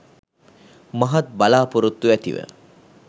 මහත් බලාපොරොත්තු ඇතිව